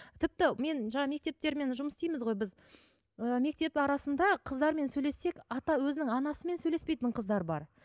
тіпті мен жаңа мектептермен жұмыс істейміз ғой біз і мектеп арасында қыздармен сөйлессек ата өзінің анасымен сөйлеспейтін қыздар бар